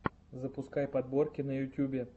запускай подборки на ютубе